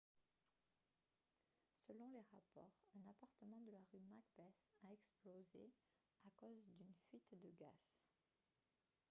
selon les rapports un appartement de la rue macbeth a explosé à cause d'une fuite de gaz